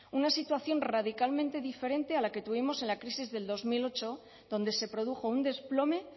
una situación radicalmente diferente a la que tuvimos en la crisis del dos mil ocho donde se produjo un desplome